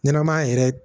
Ɲɛnɛmaya yɛrɛ